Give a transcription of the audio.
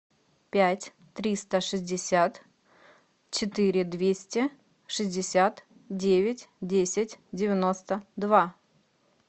пять триста шестьдесят четыре двести шестьдесят девять десять девяносто два